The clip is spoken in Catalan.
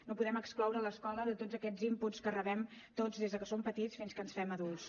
no podem excloure l’escola de tots aquests inputs que rebem tots des que som petits fins que ens fem adults